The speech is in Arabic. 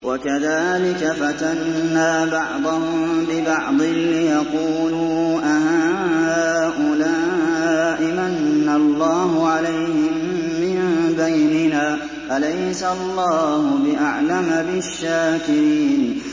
وَكَذَٰلِكَ فَتَنَّا بَعْضَهُم بِبَعْضٍ لِّيَقُولُوا أَهَٰؤُلَاءِ مَنَّ اللَّهُ عَلَيْهِم مِّن بَيْنِنَا ۗ أَلَيْسَ اللَّهُ بِأَعْلَمَ بِالشَّاكِرِينَ